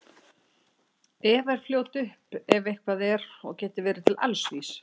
Eva er fljót upp ef eitthvað er og getur verið til alls vís.